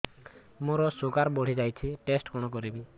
ମୋର ଶୁଗାର ବଢିଯାଇଛି ଟେଷ୍ଟ କଣ କରିବି